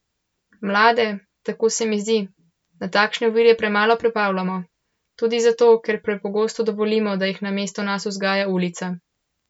Mlade, tako se mi zdi, na takšne ovire premalo pripravljamo tudi zato, ker prepogosto dovolimo, da jih namesto nas vzgaja ulica.